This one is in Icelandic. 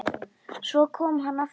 Svo kom hann aftur.